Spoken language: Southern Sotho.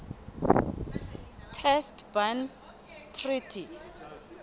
test ban treaty